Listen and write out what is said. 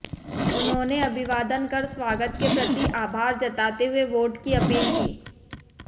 उन्होंने अभिवादन कर स्वागत के प्रति आभार जताते हुए वोट की अपील की